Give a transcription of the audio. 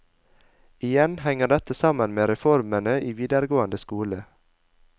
Igjen henger dette sammen med reformene i videregående skole.